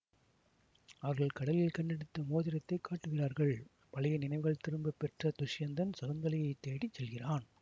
அவர்கள் கடலில் கண்டெடுத்த மோதிரத்தை காட்டுகிறார்கள் பழைய நினைவுகள் திரும்ப பெற்ற துஷ்யந்தன் சகுந்தலையைத் தேடி செல்கிறான்